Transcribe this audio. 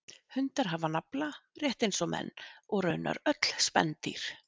Hundar hafa nafla rétt eins og menn og raunar öll spendýr.